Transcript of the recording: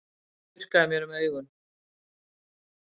Ég þurrkaði mér um augun.